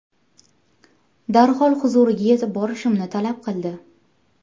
Darhol huzuriga yetib borishimni talab qildi.